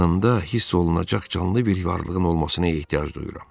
Yanımda hiss olunacaq canlı bir varlığın olmasını ehtiyac duyuram.